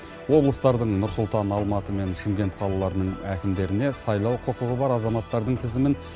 облыстардың нұр сұлтан алматы мен шымкент қалаларының әкімдеріне сайлау құқығы бар азаматтардың тізімін